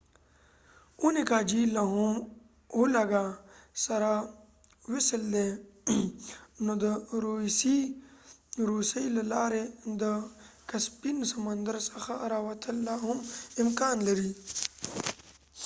اونيګا جهيل له هم وولګا سره وصل دی نو د روسیې له لارې د کسپین سمندر څخه راوتل لاهم امکان لري